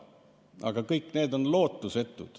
Aga kõik see on lootusetu.